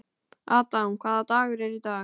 Adam, hvaða dagur er í dag?